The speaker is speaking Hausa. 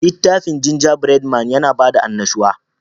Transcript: Litafin Gingerbread man, yana da bada annashuwa